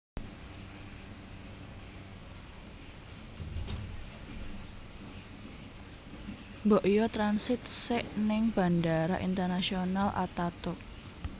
Mbok yo transit sek ning Bandara Internasional Ataturk